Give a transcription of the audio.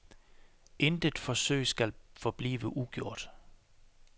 Intet forsøg skal forblive ugjort.